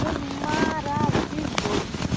Foi maravilhoso.